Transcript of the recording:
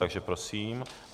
Takže prosím.